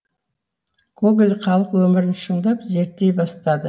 гоголь халық өмірін шындап зерттей бастады